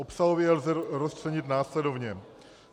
Obsahově je lze rozčlenit následovně.